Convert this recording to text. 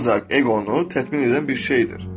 Ancaq eqonu tətbiq edən bir şeydir.